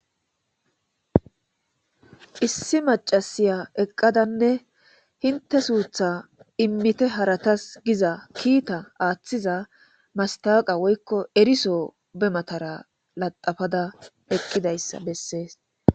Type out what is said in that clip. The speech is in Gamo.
Issi macasiya eqadanne inte sutha imite haratasi giza kita athiza matawoqa woyko eriso be matara lathapada eqidaysa bese